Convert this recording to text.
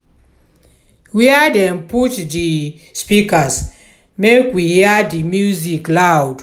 where dem put di speakers make we hear di music loud?